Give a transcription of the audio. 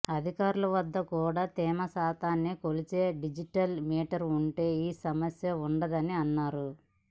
అధికారుల వద్ద కూడా తేమశాతాన్ని కొలిచే డిజిటల్ మీటర్లు ఉంటే ఈసమస్య ఉండదని అన్నారు